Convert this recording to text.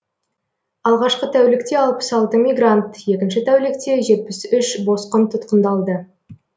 алғашқы тәулікте алпыс алты мигрант екінші тәулікте жетпіс үш босқын тұтқындалды